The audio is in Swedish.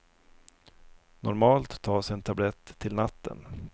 Normalt tas en tablett till natten.